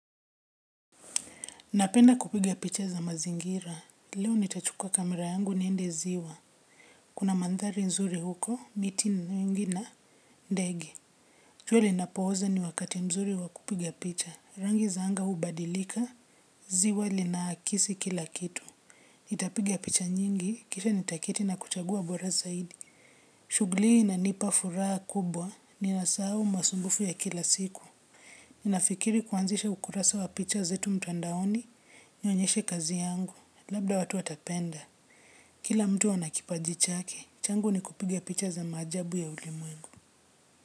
Napenda kupiga picha za mazingira, leo nitachukua kamera yangu niende ziwa. Kuna mandhari nzuri huko, miti nyingi na ndege. Jua linapozama ni wakati mzuri wa kupiga picha, rangi za anga hubadilika, ziwa lina akisi kila kitu. Nitapiga picha nyingi, kisha nitaketi na kuchagua bora zaidi. Shughuli hii inanipa furaha kubwa, ninasahau masumbufu ya kila siku. Ninafikiri kuanzisha ukurasa wa picha zetu mtandaoni, nionyeshe kazi yangu. Labda watu watapenda, kila mtu ana kipaji chake, changu ni kupiga picha za maajabu ya ulimwengu.